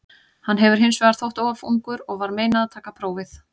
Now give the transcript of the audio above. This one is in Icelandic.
Hann hefur hins vegar þótt of ungur og var meinað að taka prófið.